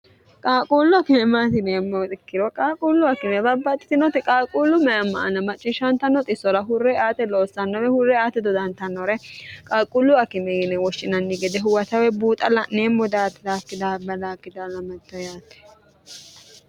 qaaquullu akime maati yineemmo ikkiro qaalquullu akime babbaxitinoti qaalquullu mayamma ana macciishshantnnoisora hurre ate loossannore hurre ati dodantannore qaalquullu akime yine woshshinanni gede huwatawe buuxa la'neemmu daati daakki daabbalakim yaate